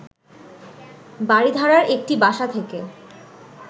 বারিধারার একটি বাসা থেকে